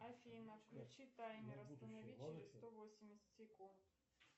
афина включи таймер останови через сто восемьдесят секунд